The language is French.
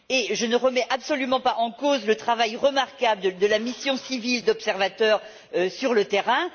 Et je ne remets absolument pas en cause le travail remarquable de la mission civile d'observateurs sur le terrain.